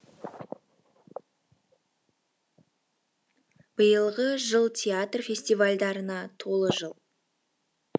биылғы жыл театр фестивальдарына толы жыл